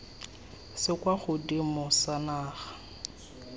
se kwa godimo sa naga